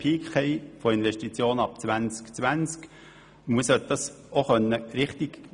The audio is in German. Man sollte dies auch klar herauslesen können.